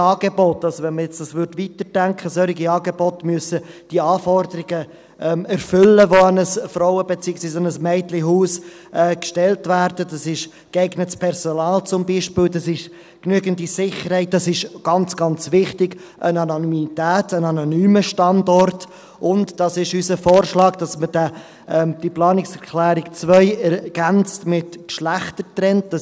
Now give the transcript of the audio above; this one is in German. Denn solche Angebote – wenn man das jetzt weiterdenken würde – müssen die Anforderungen erfüllen, die an ein Frauen- beziehungsweise an ein Mädchenhaus gestellt werden: geeignetes Personal, genügend Sicherheit, das ist ganz, ganz wichtig, Anonymität, ein anonymer Standort, und – das ist unser Vorschlag – dass man diese Planungserklärung 2 mit «geschlechtergetrennt» ergänzt.